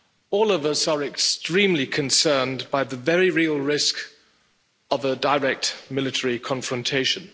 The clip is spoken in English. All of us are extremely concerned by the very real risk of a direct military confrontation.